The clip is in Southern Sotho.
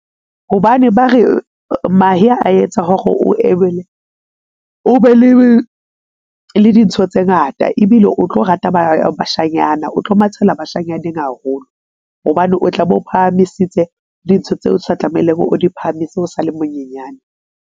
Hobane ba re mahe a etsa hore o be le dintho tse ngata ebile o tlo rata bashanyana, o tlo mathela bashanyaneng haholo hobane o tla bo phahamisitse dintho tseo o sa tlamehileng o di phahamise o sale monyenyane.